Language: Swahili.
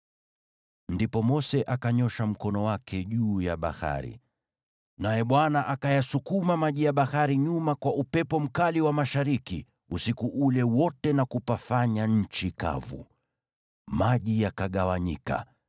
Ndipo Mose akanyoosha mkono wake juu ya bahari, naye Bwana akayasukuma maji ya bahari nyuma kwa upepo mkali wa mashariki usiku ule wote na kupafanya nchi kavu. Maji yakagawanyika,